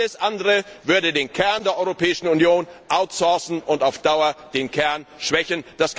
Alles andere würde den Kern der Europäischen Union outsourcen und auf Dauer schwächen.